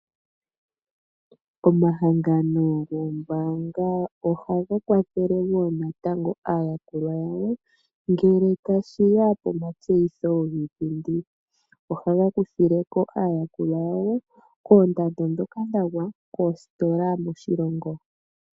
Omahangano gombaanga ohaga kwathele wo natango aayakulwa yawo ngele tashi ya pomatseyitho giipindi. Ohaga kuthile ko aayakulwa yawo koondando dhoka dha gwa koositola moshilongo.